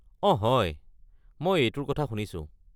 অঁ হয়, মই এইটোৰ কথা শুনিছোঁ।